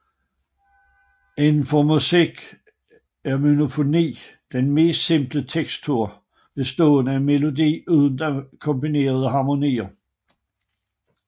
Inden for musik er monofoni den mest simple tekstur bestående af melodi uden akkompagnerende harmonier